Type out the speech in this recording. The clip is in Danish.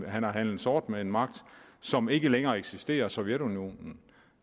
han har handlet sort med en magt som ikke længere eksisterer nemlig sovjetunionen